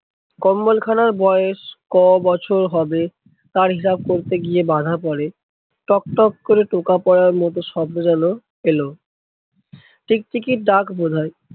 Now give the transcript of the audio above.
কম্বল খানার বয়েস কবছর হবে তার হিসাব করতে গিয়ে বাঁধা পরে, টক টক করে টোকা পরার মতো শব্দ যেন এলো। টিকটিকির ডাক বোধহয়।